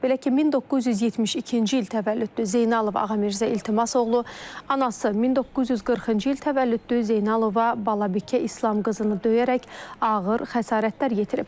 Belə ki, 1972-ci il təvəllüdlü Zeynalov Ağamirzə İltimas oğlu anası 1940-cı il təvəllüdlü Zeynalova Balabikə İslam qızını döyərək ağır xəsarətlər yetirib.